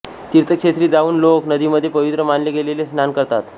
तीर्थक्षेत्री जावून लोक नदीमध्ये पवित्र मानले गेलेले स्नान करतात